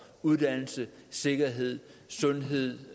uddannelse sikkerhed sundhed